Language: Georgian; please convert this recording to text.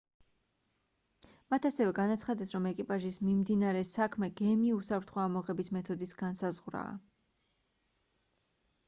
მათ ასევე განაცხადეს რომ ეკიპაჟის მიმდინარე საქმე გემის უსაფრთხო ამოღების მეთოდის განსაზღვრაა